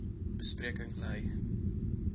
be spreking lei